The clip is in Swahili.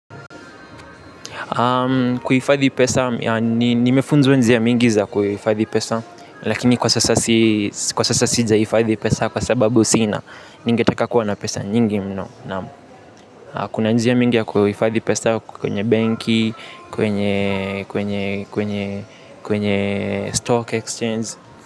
Kuhifadhi pesa nimeefunzwa njia mingi za kuhifadhi pesa. Lakini kwa sasa sija hifadhi pesa kwa sababu sina. Ningetaka kuwa na pesa nyingi mno. Kuna njia mingi ya kuhifadhi pesa kwenye benki. Kwenye stock exchange.